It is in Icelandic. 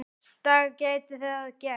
dag gæti það gerst.